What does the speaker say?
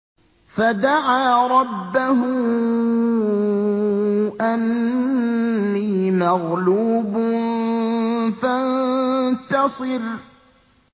فَدَعَا رَبَّهُ أَنِّي مَغْلُوبٌ فَانتَصِرْ